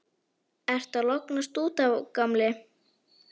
Ertu að lognast út af, gamli?